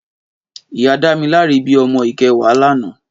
Ìyá Damilare bi òmò ikèwá lànã